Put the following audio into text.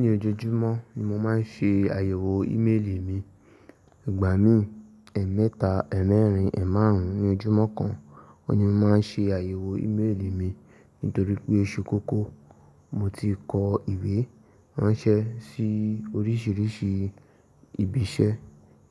Ní ojoojúmọ́ ni mo máa ń ṣe àyẹ̀wò ímélì mi. Ìgbà mí, ẹ̀ẹ̀mẹ́ta, ẹ̀ẹ̀mẹ́rin, ẹ̀ márùn ún ní ojúmọ́ kan ni mo máa ń ṣe àyẹ̀wò ímélì mi nítorí pé oṣù kọ́kọ́ mo ti kọ ìwé ránṣẹ́ sí oríṣiríṣi ibi iṣẹ́.